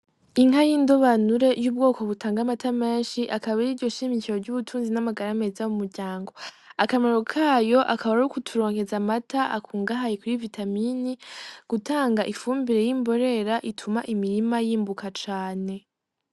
Inka y'indobanure y'ubwoko butanga amata menshi, akaba ariryo shimikiro ry'ubutunzi n'amagara meza mumuryango. Akamaro kayo akaba ari ukuturonkeza amata akungahaye kuri vitamini, gutanga ifumbire y'imborera ituma imirima yimbuka cane.